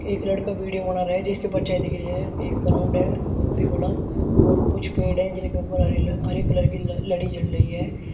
एक लड़का वीडियो बना रहा है जिसकी परछाई दिख रही है। एक ग्राउंड है बहोत ही बड़ा और कुछ पेड़ हैं जिनके ऊपर हरील हरे कलर की ल-लड़ी जल रही है।